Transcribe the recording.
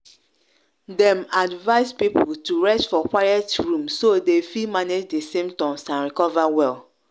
dem advise people to rest for quiet room so dem fi manage di symptoms and recover well.